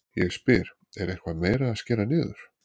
Ég spyr, er eitthvað meira að skera niður?